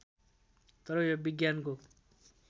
तर यो विज्ञानको